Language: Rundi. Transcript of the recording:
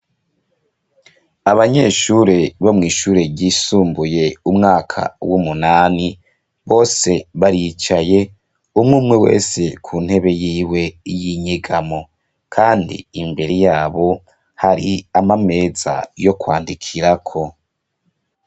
Abanyeshure bo mw' ishure ryisumbuye umwaka w'umunani, bose baricaye, umw'umwe wese ku ntebe yiwe y'inyegamo kandi imbere yabo hari amameza yo kwandikirako.